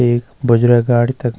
एक बजरा गाडी तख।